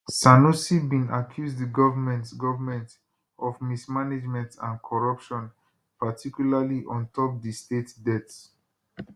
sanusi bin accuse di government government of mismanagement and corruption particularly on top di state debts